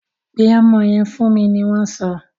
Pe ọmọ yẹn fún mi! ni wọn so.